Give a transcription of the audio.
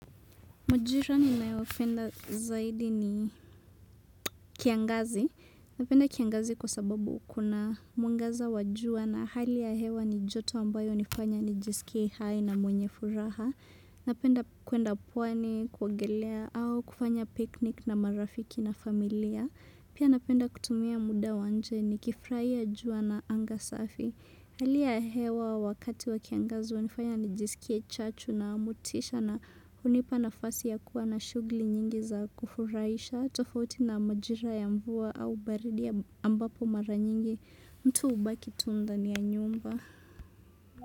Majirani ninayopenda zaidi ni kiangazi. Napenda kiangazi kwa sababu kuna mwangaza wa jua na hali ya hewa ni joto ambayo nifanya nijisikie hai na mwenye furaha. Napenda kwenda pwani, kuongelea au kufanya picnic na marafiki na familia. Pia napenda kutumia muda wa nje nikifuraia jua na anga safi. Halia hewa wakati wa kiangazu, hunifanya nijisikie chachu na mutisha na hunipa nafasi ya kuwa na shugli nyingi za kufuraisha, tofauti na majira ya mvua au baridi ambapo mara nyingi, mtu ubaki tunda ni ya nyumba.